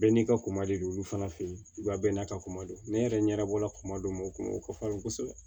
Bɛɛ n'i ka koma de don olu fana fɛ yen bɛɛ n'a ka kuma don ne yɛrɛ ɲɛdabɔla kunma don mɔgɔ kun o kɔfɛ kosɛbɛ